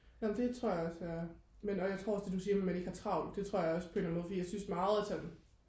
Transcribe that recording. nå men det tror jeg også jeg er men og jeg tror også det der du siger med de ikke har travlt det tror jeg også på en eller anden måde for jeg synes meget at sådan